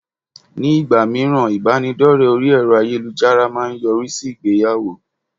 Ní ìgbà míràn bíbánidọ́rẹ̀ẹ́ orí ẹ̀rọ ayélujára má a ń yọrí sí ìgbéyàwó